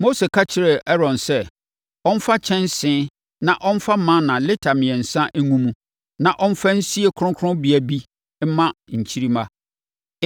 Mose ka kyerɛɛ Aaron sɛ ɔmfa kyɛnsee na ɔmfa mana lita mmiɛnsa ngu mu na ɔmfa nsie kronkronbea bi mma nkyirimma.